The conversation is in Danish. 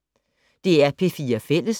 DR P4 Fælles